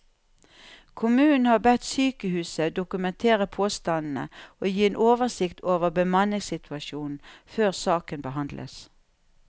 Kommunen har bedt sykehuset dokumentere påstandene og gi en oversikt over bemanningssituasjonen før saken behandles.